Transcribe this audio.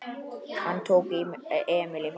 Hann tók Emil í fangið.